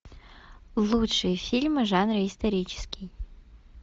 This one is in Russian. лучшие фильмы в жанре исторический